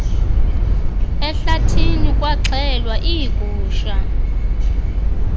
ehlathini kwaxhelwa iigusha